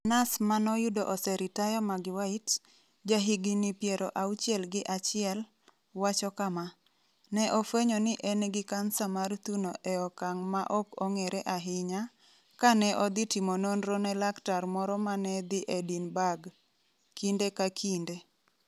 Nas ma noyudo oseritaya Maggie Whyte, jahigini piero auchiel gi achiel, wacho kama: Ne ofwenyo ni en gi kansa mar thuno e okang ' ma ok ong'ere ahinya, kane odhi timo nonro ne laktar moro ma ne ni Edinburgh. Kinde ka kinde.